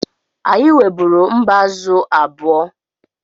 Anyị nweburu mbázụ̀ abụọ.